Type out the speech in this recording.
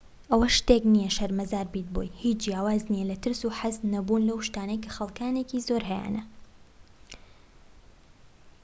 ئەوە شتێك نیە شەرمەزار بیت بۆی هیچ جیاواز نیە لە ترس و حەز نەبوون لەو شتانەی کە خەلکانێکی زۆر هەیانە